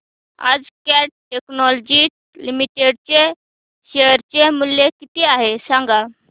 आज Cat Technologies Limited चे share चे मूल्य किती आहे सांगा